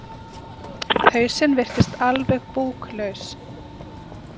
Hausinn virtist alveg búklaus.